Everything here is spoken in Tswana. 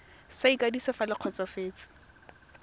sa ikwadiso fa le kgotsofetse